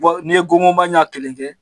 Bon n'i ye gonkonba ɲɛ kelen kɛ.